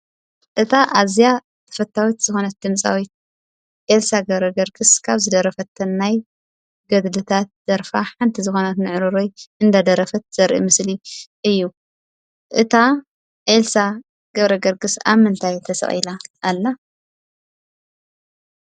እታ ኣዝያ ተፈታዊት ዝኾነት ድምፃዊት ኤልሳ ገብረገርግስ ካብ ዝደረፈተን ናይ ገድልታት ደርፋ ሓንቲ ንዕሩረይ ዝኾነት እዳደረፈት ዘርኢ ምስሊ እዩ ። እታ ኤልሳ ገብረገርግስ ኣብ ምንታይ ተሰቂላ ኣላ?